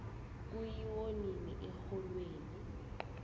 kuyiwo nini exholweni